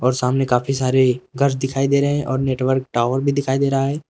और सामने काफी सारे घर दिखाई दे रहे हैं और नेटवर्क टॉवर भी दिखाई दे रहा है।